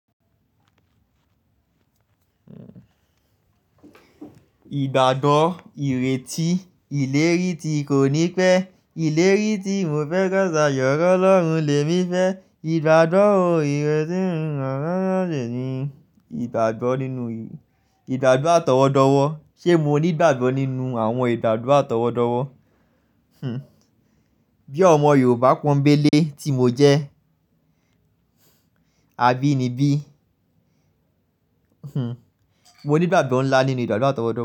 Ìgbàgbọ́ ìrètí ìlérí tí kò ní pẹ́, ìlérí tí mo fẹ́ gba ṣàyẹ̀wò Ọlọ́run lè mí fẹ́, ìgbàgbọ́ ohun ìrètí mi máa ṣàṣeyẹrí. Ìgbàgbọ́ nínú ìdàdúà tọwọ́dọ́wọ́, ṣe mo ní ìgbàgbọ́ nínú àwọn ìdàdúà tọwọ́dọ́wọ́? Bí ọmọ Yorùbá pọ́nńbélé tí mo jẹ́, àbínibí? Mo ní ìgbàgbọ́ ńlá nínú ìdàdúà tọwọ́dọ́wọ́